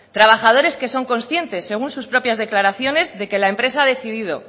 trabajadores que son conscientes según sus propias declaraciones de que la empresa ha decidido